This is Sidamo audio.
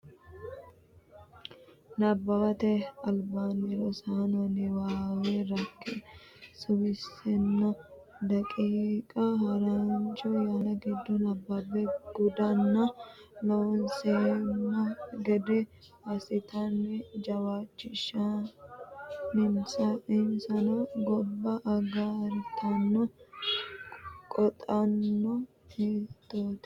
Nabbawate Albaanni Rosaano niwaawe rakke, suwissenna daqiiqa harancho yanna giddo nabbabbe guddanno Loonseemmo gede assatenni jawaachishinsa insano gooba agartano qooxano hiitote?